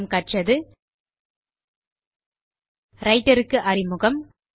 நாம் கற்றது ரைட்டர் க்கு அறிமுகம்